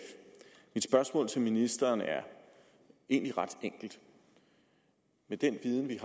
mit spørgsmål til ministeren er egentlig ret enkelt med den viden vi